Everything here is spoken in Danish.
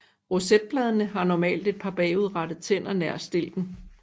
Rosetbladene har normalt et par bagudrettede tænder nær stilken